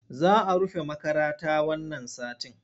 Za a rufe makarata wannan satin.